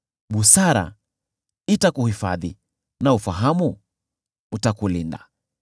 Busara itakuhifadhi na ufahamu utakulinda.